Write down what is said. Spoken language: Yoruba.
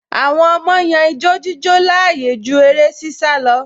Àwọn ọmọ yan ijo-jíjó láàyò ju eré-sísá lọ